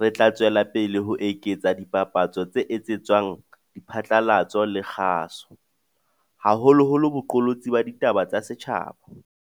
re tla tswela pele ho eketsa dipapatso tse etsetswang diphatlalatso le kgaso, haholoholo boqolotsi ba ditaba tsa setjhaba.